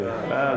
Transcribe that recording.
Bəli, bəli.